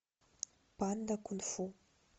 панда кунг фу